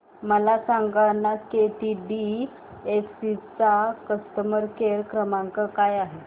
मला सांगाना केटीडीएफसी चा कस्टमर केअर क्रमांक काय आहे